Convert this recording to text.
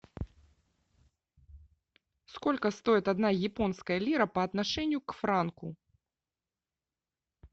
сколько стоит одна японская лира по отношению к франку